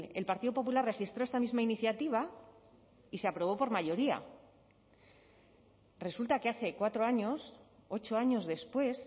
el partido popular registró esta misma iniciativa y se aprobó por mayoría resulta que hace cuatro años ocho años después